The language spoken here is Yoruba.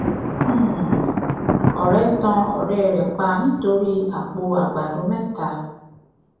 um ọrẹ tan ọrẹ rẹ pa nítorí àpò ààgbàdo mẹta